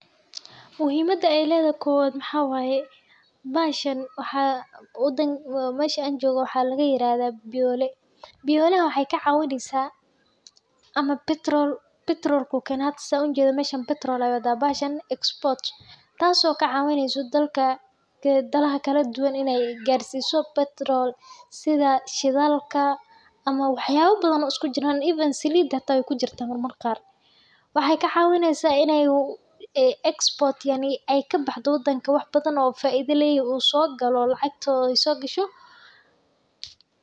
Muhiimada ilayda kowad maxaa waaye. bashan waxa wadan mashan jooga waxaa laga yiraahdaa biyooli. Biyooli waxay ka caawinaysa ama petrol petrolku keenaysa unjada mashan petrol awooda. Mashan export taasoo ka caawinaysa dalka ka dalaha kala duwan inay gaarsiiso petrol sida shidaalka ama waxyaabo badan usku jiraan even silidata ay ku jirta mar mar kaar waxay ka caawinaysa in ayuu export yani ay ka baxdo waddanka wax badan u faiida leeyahay uu soo galo lacagtooyay soo gasho.